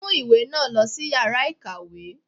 Mu ìwé náà lòsí iyàrá ìkàwé!